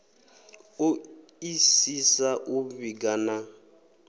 o isisa u vhiga na